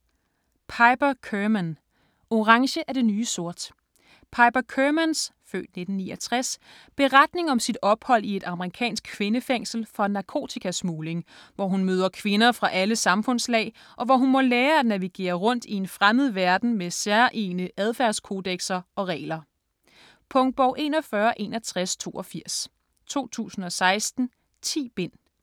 Kerman, Piper: Orange er det nye sort Piper Kermans (f. 1969) beretning om sit ophold i et amerikansk kvindefængsel for narkotikasmugling, hvor hun møder kvinder fra alle samfundslag, og hvor hun må lære at navigere rundt i en fremmed verden med særegne adfærdskodekser og regler. Punktbog 416182 2016. 10 bind.